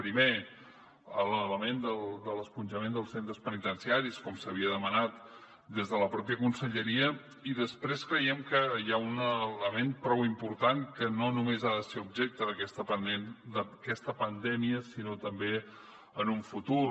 primer l’element de l’esponjament dels centres penitenciaris com s’havia demanat des de la mateixa conselleria i després creiem que hi ha un element prou important que no només ha de ser objecte d’aquesta pandèmia sinó també en un futur